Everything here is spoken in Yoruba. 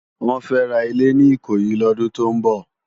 Wòn fè rá ilé ni Ikoyi lòdún tó n bò